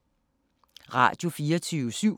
Radio24syv